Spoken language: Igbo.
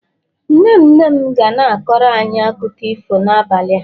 nne nne m ga na-akọrọ anyi akụkọ ifo n'abalị a